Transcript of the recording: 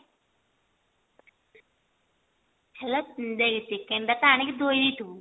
ହେଲା ଦେଖ chicken ଟା ତ ଆଣିକି ଧୋଇ ଦେଇ ଥିବୁ